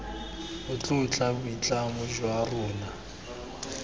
a tlotla boitlamo jwa rona